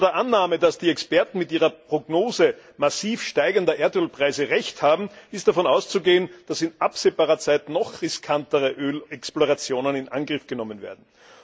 Unter der Annahme, dass die Experten mit ihrer Prognose massiv steigender Erdölpreise Recht haben, ist davon auszugehen, dass in absehbarer Zeit noch riskantere Ölexplorationen in Angriff genommen werden.